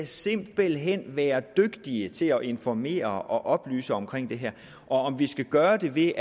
simpelt hen være dygtige til at informere og oplyse om det her om vi skal gøre det ved